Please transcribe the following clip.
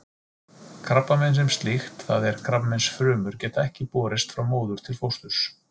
Krabbamein sem slíkt, það er krabbameinsfrumur, geta ekki borist frá móður til fósturs.